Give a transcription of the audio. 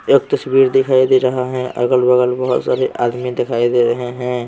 एक तस्वीर दिखाई दे रहा है अगल-बगल बहुत सारे आदमी दिखाई दे रहे हैं।